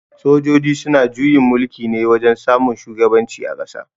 Sojoji suna juyin mulki ne wajen samun shugaban ci a ƙasa